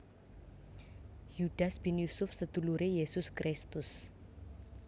Yudas bin Yusuf seduluré Yesus Kristus